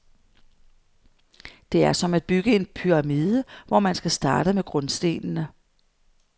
Det er som at bygge en pyramide, hvor man skal starte med grundstenene.